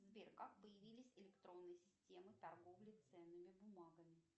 сбер как появились электронные системы торговли ценными бумагами